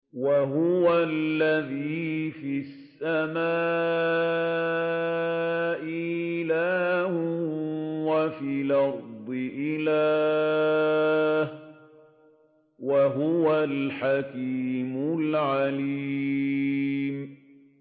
وَهُوَ الَّذِي فِي السَّمَاءِ إِلَٰهٌ وَفِي الْأَرْضِ إِلَٰهٌ ۚ وَهُوَ الْحَكِيمُ الْعَلِيمُ